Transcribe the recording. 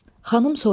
Xanım soruşdu.